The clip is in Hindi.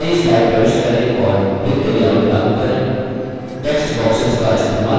नयी slide प्रविष्ट करें और रिक्तलेआउट लागू करें